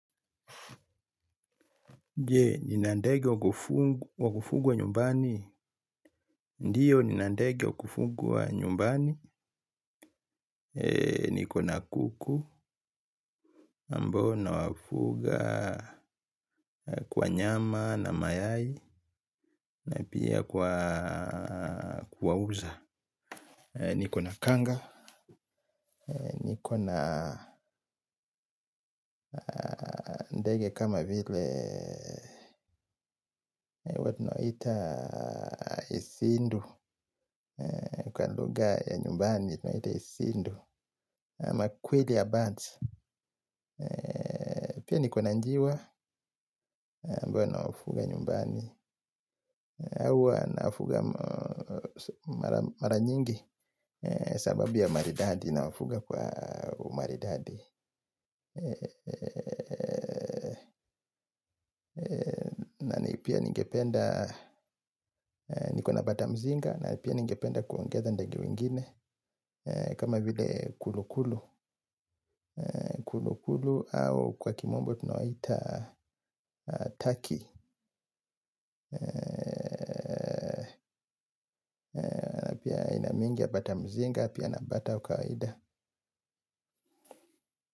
Je, nina ndege wa kufugwa nyumbani. Ndio, nina ndege wa kufugwa nyumbani. Nikona kuku, mbona wafuga kwa nyama na mayai, na pia kwa kuwauza. Nikona kanga. Nikona ndege kama vile huwa tunawaita isindu. Kwa lugha ya nyumbani isindu ama quail ya birds pia niko na njiwa ambayo nawafuga nyumbani hao huwa nawafuga. Mara nyingi sababu ya maridadi na wafuga kwa maridadi na ni pia ningependa. Nikona bata mzinga na pia ningependa kuongeza ndage wengine. Kama vile kulu kulu. Kulu kulu au kwa kimombo tunawaita Taki bata mzinga. Pia na bata wakawaida.